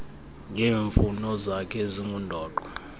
ngeemfuno zakhe ezingundoqo